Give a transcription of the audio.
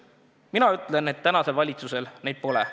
Mina ütlen, et tänasel valitsusel neid pole.